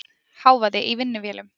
Hávaði í vinnuvélum.